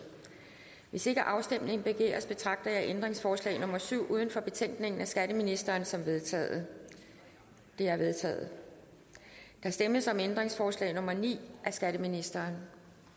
hvis ikke afstemning begæres betragter jeg ændringsforslag nummer syv uden for betænkningen af skatteministeren som vedtaget det er vedtaget der stemmes om ændringsforslag nummer ni af skatteministeren